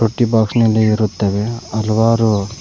ಇಟ್ಟಿ ಬಾಕ್ಸ್ ನಲ್ಲಿ ಇರುತ್ತವೆ ಹಲವಾರು--